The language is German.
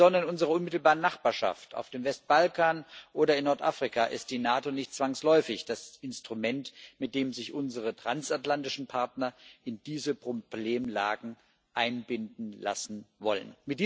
Insbesondere in unserer unmittelbaren Nachbarschaft auf dem Westbalkan oder in Nordafrika ist die NATO nicht zwangsläufig das Instrument, mit dem sich unsere transatlantischen Partner in diese Problemlagen einbinden lassen wollen.